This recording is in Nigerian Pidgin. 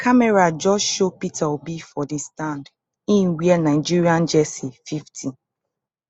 camera just show peter obi for di stand e wear nigerian jersey fifty